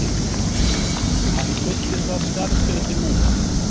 Hann fyllir það skarð betur núna